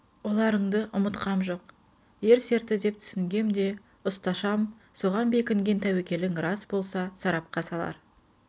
оларынды ұмытқам жоқ ер серті деп түсінгем де ұсташам соған бекінген тәуекелің рас болса сарапқа салар